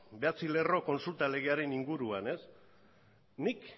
bederatzi lerro kontsulta legearen inguruan nik